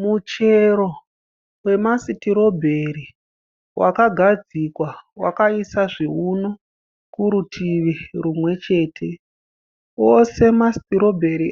Muchero wemasitirobheri wakagadzikwa wakaisa zvivuno kurutivi rumwechete, ose masitirobheri